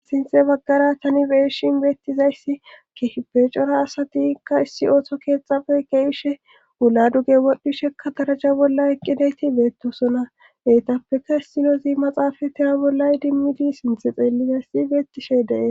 Sinxe baggara tani beeshin beettizayssi ki beecora asatikka issi ooto keexafe keehishe wula duge wodhdhishekka daraja bolla eqqidayti beettosona heytappeka issilozi maxaafa tiya bollay dimmidi sinthe xeellizayssi beettishe dee